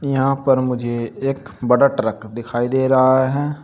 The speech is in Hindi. यहां पर मुझे एक बड़ा ट्रक दिखाई दे रहा है।